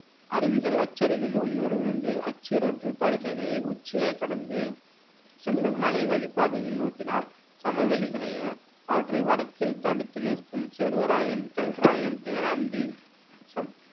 அருவிகள் அச்சரிவில் ஒலியோடு விழுந்து அச்சிற்றாற்று படுகைகளின் உச்சியைக் கடந்து செல்லும் மலை வழிப் பாதையில் நோக்கினால் சமவெளிகளையும் அவற்றை வடக்கில் தடுத்து நிறுத்தும் சேர்வராயன், கல்ராயன், தேனாந்தி